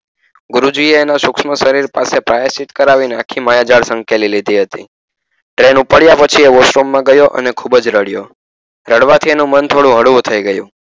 ગુરુજી એ એના સૂક્ષ્મ શરીર પાસે પ્રાયચીત કરાવી ને આખી માયાજાળ સંકેલી લીધી હતી તે wosh room માં ગયો આજે ખૂબ જ રડિયો રડવા થી એનું મન થોડું હળવું થઈ ગયું.